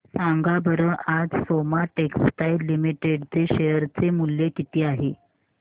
सांगा बरं आज सोमा टेक्सटाइल लिमिटेड चे शेअर चे मूल्य किती आहे